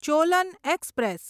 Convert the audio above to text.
Cholan express